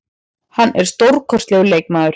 Hann er stórkostlegur leikmaður.